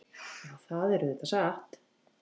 Já, það er auðvitað satt.